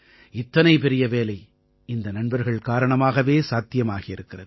இத்தனை பெரிய வேலை இந்த நண்பர்கள் காரணமாகவே சாத்தியமாகி இருக்கிறது